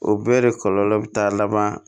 O bɛɛ de kɔlɔlɔ be taa laban